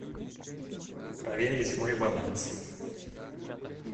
проверить мой баланс